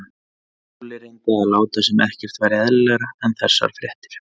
Lúlli reyndi að láta sem ekkert væri eðlilegra en þessar fréttir.